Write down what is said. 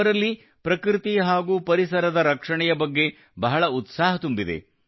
ಅವರಲ್ಲಿ ಪ್ರಕೃತಿ ಹಾಗೂ ಪರಿಸರದ ರಕ್ಷಣೆಯ ಬಗ್ಗೆ ಬಹಳ ಉತ್ಸಾಹ ತುಂಬಿದೆ